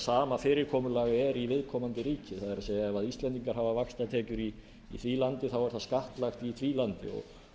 sama fyrirkomulag er í viðkomandi ríki það er ef íslendingar hafa vaxtatekjur í því landi þá er það skattlagt í því landi